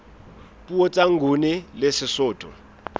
puo tsa nguni le sesotho